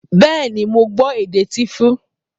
Bẹ́ẹ̀ ni, mo gbọ́ èdè Tíífù